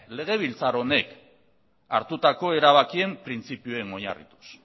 legebiltzar honek hartutako erabakien printzipioen oinarrituz